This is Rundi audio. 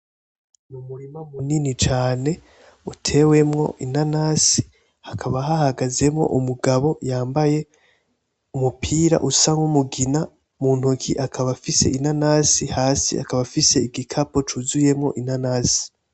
Umurima munini cane utewemo inanasi, hakaba hahagazemo umugabo yambaye umupira usa nk'umugina mu ntoki akaba afise inanasi hasi akaba afise ishakoshe yuzuyemo inanasi.